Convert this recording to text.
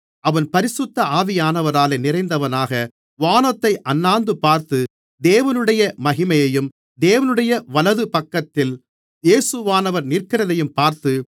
அவன் பரிசுத்த ஆவியானவராலே நிறைந்தவனாக வானத்தை அண்ணாந்துபார்த்து தேவனுடைய மகிமையையும் தேவனுடைய வலதுபக்கத்தில் இயேசுவானவர் நிற்கிறதையும் பார்த்து